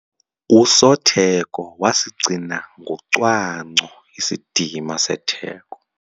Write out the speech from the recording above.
Usotheko wasigcina ngocwangco isidima setheko.